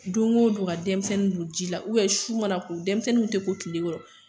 Don go don ka denmisɛnnin don jila ubiyɛn su mana ko denmisɛnnuw tɛ ko kile kɔrɔ